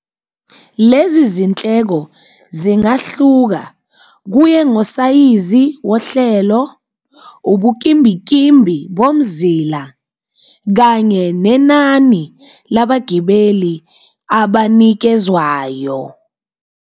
Lezi zinhleko zingahluka kuye ngosayizi wohlelo, ubukimbikimbi bomzila kanye nenani labagibeli abanikezwayo.